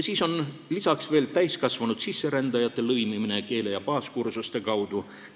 Siis on veel täiskasvanud sisserändajate lõimumine keele- ja baaskursuste kaudu.